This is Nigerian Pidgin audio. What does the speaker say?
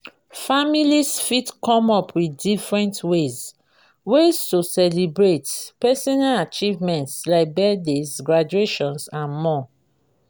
families fit come up with different ways ways to celebrate personal achievement like birthdays graduations and more